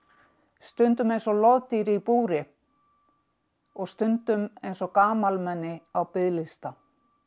stundum eins og loðdýri í búri og stundum eins og gamalmenni á biðlista